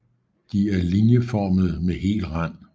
De er linieformede med hel rand